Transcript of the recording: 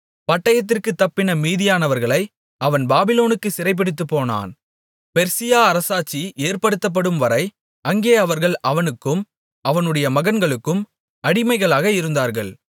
பட்டயத்திற்குத் தப்பின மீதியானவர்களை அவன் பாபிலோனுக்குச் சிறைபிடித்துப்போனான் பெர்சியா அரசாட்சி ஏற்படுத்தப்படும்வரை அங்கே அவர்கள் அவனுக்கும் அவனுடைய மகன்களுக்கும் அடிமைகளாக இருந்தார்கள்